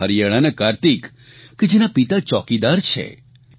અથવા હરિયાણાના કાર્તિક કે જેના પિતા ચોકીદાર છે